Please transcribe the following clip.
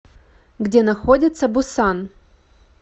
где находится бусан